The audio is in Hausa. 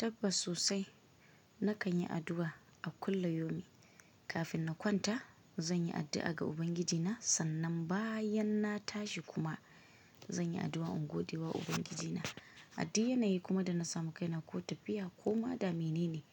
Tabbas sosai na kanyi addu'a a kullum yomi, kafin na kwanta zan yi addu'a ga Ubangijina sannan bayan na tashi kuma zanyi addu'a in godewa Ubangijina, aduk yanayi kuma da na samu kaina ko tafiya koma da menene